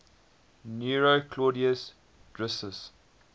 nero claudius drusus